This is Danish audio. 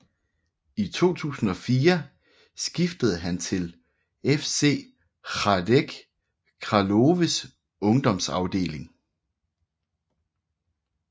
I 2004 skiftede han til FC Hradec Královés ungdomsafdeling